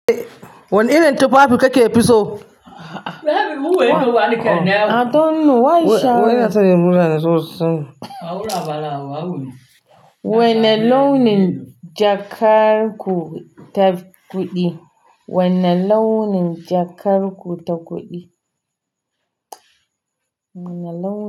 Wanne irin tufafi kake fiso? I don't know why. Wane launin jakar ku ta kuɗi? Wane launin jakarku ta kuɗi? Wane launin.